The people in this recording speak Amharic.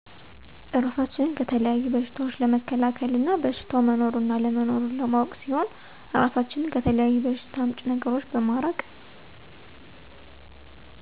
እራሳችንን ከተለያዩ በሸታዎች ለመከላከል እና በሸታው መኖሩንና አለመኖሩን ለማወቅ ሲሆን እራሳችንን ከተለያዪ በሸታ አምጪ ነገራቶች በማራቅ